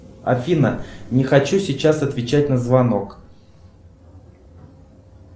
афина не хочу сейчас отвечать на звонок